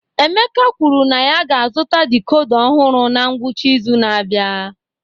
Emeka kwuru na ya ga-azụta decoder ọhụrụ na ngwụcha izu na-abịa